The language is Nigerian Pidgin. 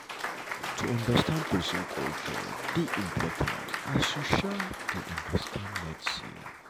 to understand pesin culture dey important as you um dey understand medicine.